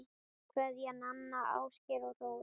Kveðja, Nanna, Ásgeir og Dóra